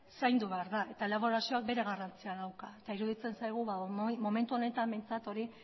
zaindu behar da eta elaborazioak bere garrantzia dauka eta iruditzen zaigu momentu honetan behintzat hori